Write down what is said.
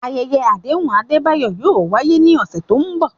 Ayẹyẹ àdéhùn Adebayo yóò wáyé ní ọ̀sẹ̀ tó ń bọ̀.